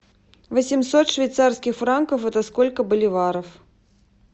восемьсот швейцарских франков это сколько боливаров